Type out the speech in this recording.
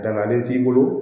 Dangalen t'i bolo